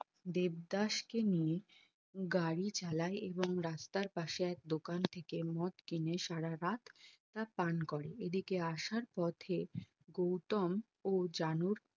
দেবদাস কে নিয়ে গাড়ি চালাই এবং রাস্তার পাশে এক দোকান থেকে মদ কিনে সারারাত তা পান করে এদিকে আসার পথে গৌতম ও জানুর